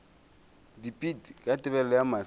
dipit ka tebelego ya mahlo